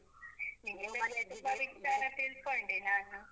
ನಿಮ್ಮ ತುಂಬ ಸವಿಸ್ತಾರ ತಿಳ್ಕೊಂಡೆ ನಾನು.